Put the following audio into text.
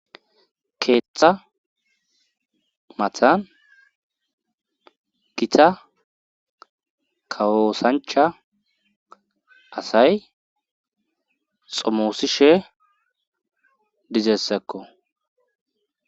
keeththa matan gita kawo osancha asay xomoosishe dizessakko